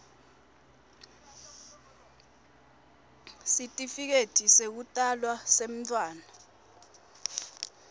sitifiketi sekutalwa semntfwana